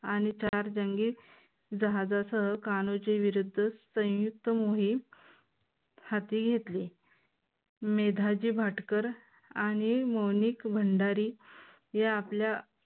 आणि चार जंगी जहाजासह कानोजी विरुद्ध संयुक्त मोहीम हाती घेतली. मेधाजी भाटकर आणि मोनिक भंडारे या आपल्या